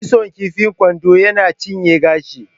Kitson kifa kwando yana cinye gashi